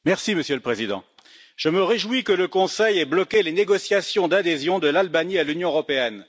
Monsieur le Président, je me réjouis que le Conseil ait bloqué les négociations d'adhésion de l'Albanie à l'Union européenne.